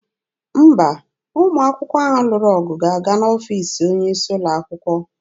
Mba, ụmụ akwụkwọ ahụ lụrụ ọgụ ga-aga n'ọfiisi onye isi ụlọ akwụkwọ.